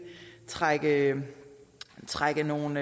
trække trække nogle